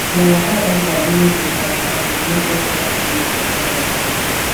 dem waka enta during di match and we make extra space for parlor chair